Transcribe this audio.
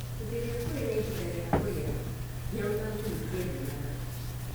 Hĩndĩ ĩrĩa kũrĩ na ihinda rĩa kũrĩa, nyau na ngui itiendanaga